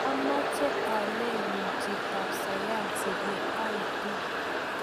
ameche aleku chitab sayansi ye aoitu